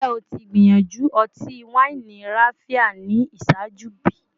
Njẹ o ti gbiyanju ọti-waini Raphia ni iṣaaju bi?